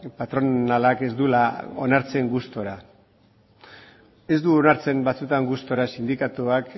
patronalak ez duela onartzen gustura ez du onartzen batzutan gustura sindikatuak